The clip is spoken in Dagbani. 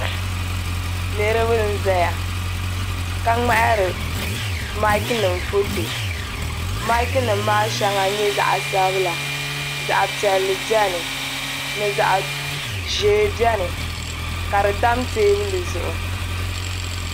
Niriba n zaya ka ŋmahari maaki nima foto maaki nima maa sheŋa nyɛla zaɣa sabila zaɣa piɛlli biɛni ni zaɣa ʒee biɛni ka di tam teebuli zuɣu.